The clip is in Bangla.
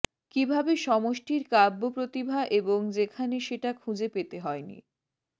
কিভাবে সমষ্টির কাব্যপ্রতিভা এবং যেখানে সেটা খুঁজে পেতে হয়নি